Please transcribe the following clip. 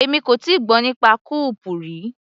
Èmi kò tíì gbọ́ nípa kó-ọọ̀pù rí.